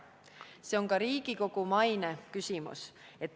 Siin on küsimus ka Riigikogu maines.